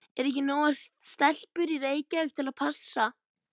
Eru ekki nógar stelpur í Reykjavík til að passa?